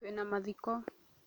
Twĩ na mathiko